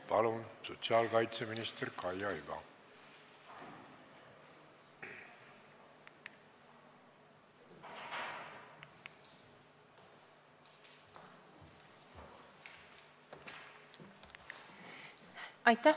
Palun, sotsiaalkaitseminister Kaia Iva!